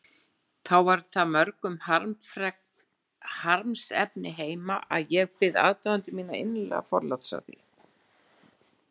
þá var það mörgum harmsefni heima, og ég bið aðdáendur mína innilega forláts á því.